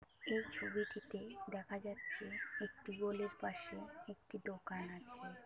এই ছবিটিতে দেখা যাচ্ছে । একটি গোলের পাশে একটি দোকান আছে ।